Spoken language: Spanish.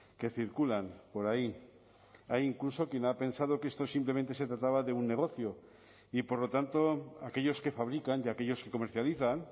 que circulan por ahí hay incluso quien ha pensado que esto simplemente se trataba de un negocio y por lo tanto aquellos que fabrican y aquellos que comercializan